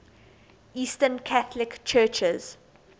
eastern catholic churches